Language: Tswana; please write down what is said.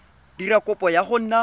dira kopo ya go nna